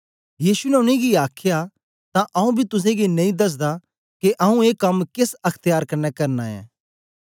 यीशु ने उनेंगी आखया तां आऊँ बी तुसेंगी नेई दसदा के आऊँ ए कम केस अख्त्यार कन्ने करना ऐं